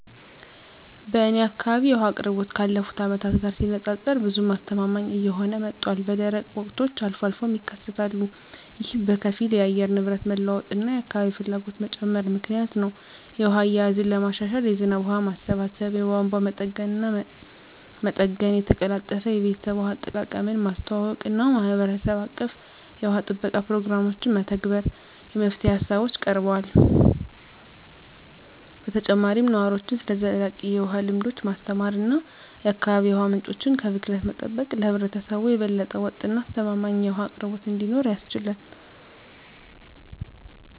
በእኔ አካባቢ የውሃ አቅርቦት ካለፉት አመታት ጋር ሲነፃፀር ብዙም አስተማማኝ እየሆነ መጥቷል፣ በደረቅ ወቅቶች አልፎ አልፎም ይከሰታሉ። ይህ በከፊል የአየር ንብረት መለዋወጥ እና የአካባቢ ፍላጎት መጨመር ምክንያት ነው. የውሃ አያያዝን ለማሻሻል የዝናብ ውሃ ማሰባሰብ፣ የቧንቧ መጠገንና መጠገን፣ የተቀላጠፈ የቤተሰብ ውሃ አጠቃቀምን ማስተዋወቅ እና የማህበረሰብ አቀፍ የውሃ ጥበቃ ፕሮግራሞችን መተግበር የመፍትሄ ሃሳቦች ቀርበዋል። በተጨማሪም ነዋሪዎችን ስለ ዘላቂ የውሃ ልምዶች ማስተማር እና የአካባቢ የውሃ ምንጮችን ከብክለት መጠበቅ ለህብረተሰቡ የበለጠ ወጥ እና አስተማማኝ የውሃ አቅርቦት እንዲኖር ያስችላል።